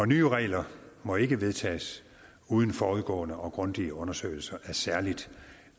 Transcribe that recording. nye regler må ikke vedtages uden forudgående og grundige undersøgelser af særlig